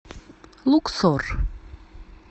луксор